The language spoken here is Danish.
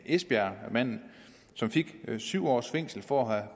esbjergmanden som fik syv års fængsel for at